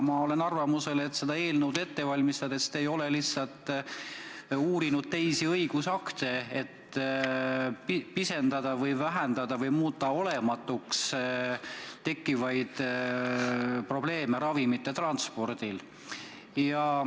Ma olen arvamusel, et seda eelnõu ette valmistades te lihtsalt ei ole uurinud teisi õigusakte, et pisendada või muuta olematuks tekkivad probleemid ravimite transpordil.